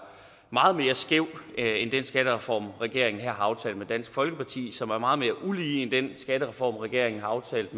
meget mere skæv end den skattereform regeringen her har aftalt med dansk folkeparti og som er meget mere ulige end den skattereform regeringen har aftalt